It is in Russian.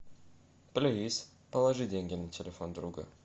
плиз положи деньги на телефон друга